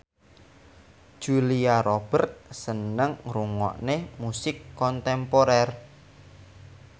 Julia Robert seneng ngrungokne musik kontemporer